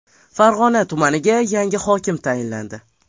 Farg‘ona tumaniga yangi hokim tayinlandi.